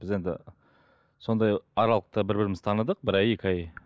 біз енді сондай аралықта бір бірімізді таныдық бір ай екі ай